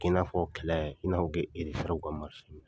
I' n'a fɔ kɛlɛ i n'a fɔ ke fɛrɛ ka